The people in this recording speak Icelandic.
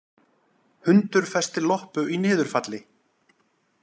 Hundur festi loppu í niðurfalli